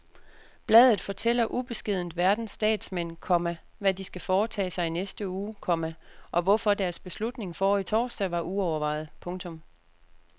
Bladet fortæller ubeskedent verdens statsmænd, komma hvad de skal foretage sig i næste uge, komma og hvorfor deres beslutning forrige torsdag var uovervejet. punktum